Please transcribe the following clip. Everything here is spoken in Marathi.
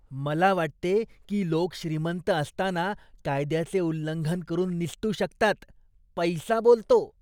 मला वाटते की लोक श्रीमंत असताना कायद्याचे उल्लंघन करून निसटू शकतात. पैसा बोलतो!